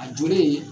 A jɔlen